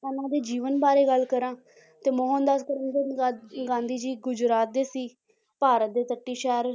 ਇਹਨਾਂ ਦੇ ਜੀਵਨ ਬਾਰੇ ਗੱਲ ਕਰਾਂ ਤੇ ਮੋਹਨ ਦਾਸ ਕਰਮਚੰਦ ਗਾਂ~ ਗਾਂਧੀ ਜੀ ਗੁਜਰਾਤ ਦੇ ਸੀ ਭਾਰਤ ਦੇ ਤੱਟੀ ਸ਼ਹਿਰ